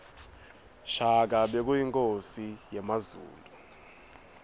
shaka bekuyinkhosi yakazulu